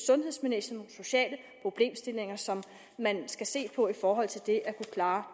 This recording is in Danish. sundhedsmæssige og sociale problemstillinger som man skal se på i forhold til det at kunne klare